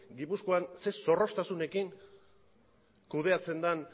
gipuzkoan zer zorroztasunarekin kudeatzen den